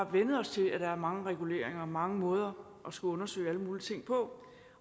vænnet os til at der er mange reguleringer mange måder at skulle undersøge alle mulige ting på